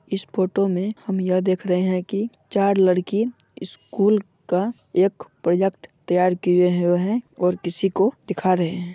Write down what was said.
इस फोटो मे हम यह देख रहे है की चार लड़की स्कूल का एक प्रोजेक्ट तैयार कीये हुए है और किसी को दिखा रहे है।